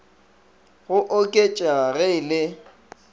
go oketšega ge e le